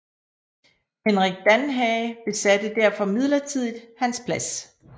Henrik Danhage besatte derfor midlertidigt hans plads